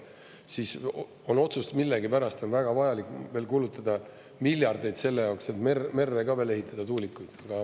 Siis on otsus, et millegipärast on väga vajalik veel kulutada miljardeid selle jaoks, et merre ka veel ehitada tuulikuid.